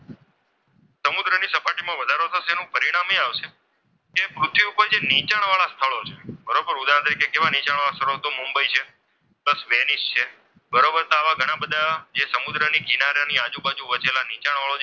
વધારો થશે એનું પરિણામ એ આવશે કે પૃથ્વી ઉપર જે નીચાણ વાળા સ્થળો છે. બરોબર, ઉદાહરણ તરીકે કેવા નીચાણવાળા સ્થળો મુંબઈ છે, પ્લસ વેનિશ છે. બરોબર, તો આવા ઘણા બધા સમુદ્રના કિનારા ની આજુબાજુ વસેલા જે નીચાણવાળા,